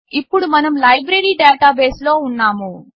ఇప్పుడు మనం లైబ్రరి డాటాబేస్లో ఉన్నాము